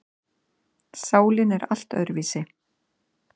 Sálin er allt öðruvísi.